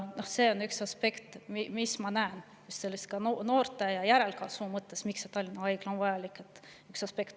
See on üks aspekt, mida ma näen, miks noorte ja järelkasvu mõttes on Tallinna Haigla vajalik.